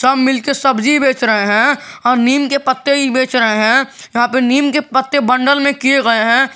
सब मिलके सब्जी बेच रहे हैं और नीम के पत्ते ही बेच रहे हैं यहां पे नीम के पत्ते बंडल में किए गए हैं।